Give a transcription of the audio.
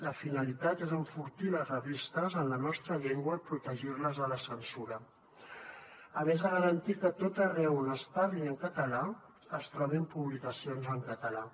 la finalitat és enfortir les revistes en la nostra llengua i protegir les de la censura a més de garantir que a tot arreu on es parli en català es trobin publicacions en català